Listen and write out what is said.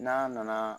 N'a nana